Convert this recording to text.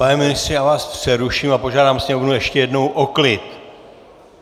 Pane ministře, já vás přeruším a požádám sněmovnu ještě jednou o klid!